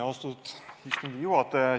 Austatud istungi juhataja!